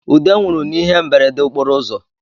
Ude nwụrụ n’ihe mberede okporo ụzọ